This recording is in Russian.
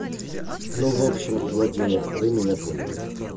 ну в общем владимир вы меня поняли